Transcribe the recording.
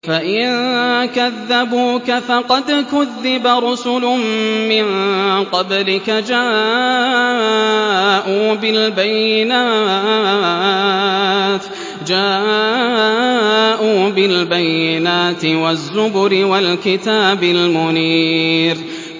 فَإِن كَذَّبُوكَ فَقَدْ كُذِّبَ رُسُلٌ مِّن قَبْلِكَ جَاءُوا بِالْبَيِّنَاتِ وَالزُّبُرِ وَالْكِتَابِ الْمُنِيرِ